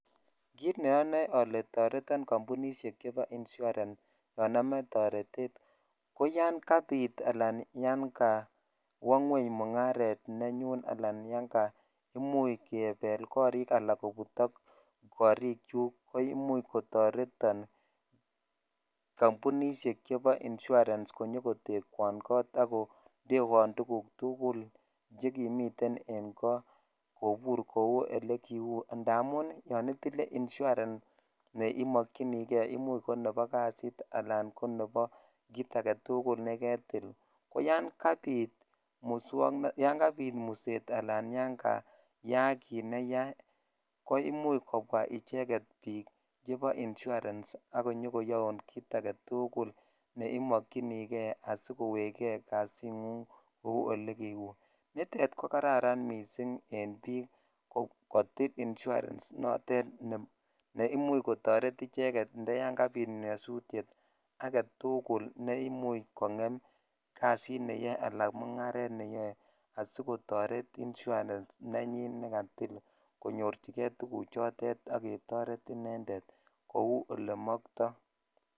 Kit neonoe ole toreton kompunishek chebo insurance yon amoe torete ko yan kabi ala yan kowoo ngweng mugaret nenyun anan yan kakimuch kebel korik ala kobutok korik chuk ko imich kotoreton jampunishej chebo insurance konyokotekwon kot ak kondeeon tuguk tukul chekimiten en koo ko ole kiu indamun yon idi nye insurance ne Imokyini jei nebo kasit aketul nebo kit agetukul nekelil ko yan kapit muset sl koyak kit ne yaa ko imuch kobwaa bik icheget chebo insurance ak konyokoyoun kit agetukul ne imokyini kei asikowe kei kasingung ko olekiunitet ko kararan missing en bik kotil insurance ne imuch kotoret icheng si yan aketukul ne imuch kongen kasit neyoe ala mugaret sikotoret insurance ne katil konyorchikei tuguchotet ak ketoret Inended kou ole motor.